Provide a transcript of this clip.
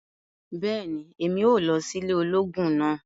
bẹẹni, Èmí óò lọ si ile ológun náà